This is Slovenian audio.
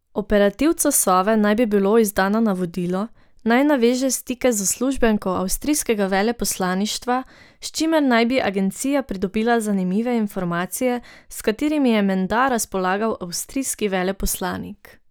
Operativcu Sove naj bi bilo izdano navodilo, naj naveže stike z uslužbenko avstrijskega veleposlaništva, s čimer naj bi agencija pridobila zanimive informacije, s katerimi je menda razpolagal avstrijski veleposlanik.